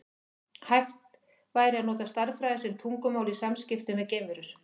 Væri hægt að nota stærðfræði sem tungumál í samskiptum við geimverur?